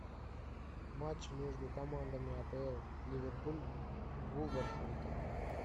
матч между командами апл ливерпуль вулверхэмптон